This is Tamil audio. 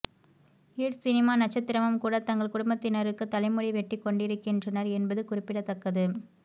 ர் சினிமா நட்சத்திரமும் கூட தங்கள் குடும்பத்தினருக்கு தலைமுடி வெட்டி கொண்டிருக்கின்றனர் என்பது குறிப்பிடத்தக்கது